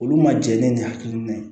Olu ma jɛ ni hakilina ye